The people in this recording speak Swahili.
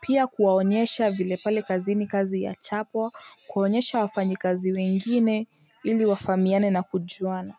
pia kuwaonyesha vile pale kazi ni kazi ya chapwa kuwaonyesha wafanyi kazi wengine ili wafamiane na kujuana.